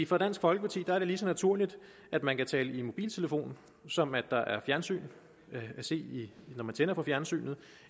for dansk folkeparti er det lige så naturligt at man kan tale i mobiltelefon som at der er fjernsyn at se når man tænder for fjernsynet